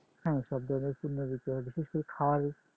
হ্যাঁ সব ধরনের পণ্য বিক্রি হয় বিশেষ করে খাবারই